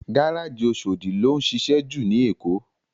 Gáráji Óṣódi ló nšišẹ jú ni Ékó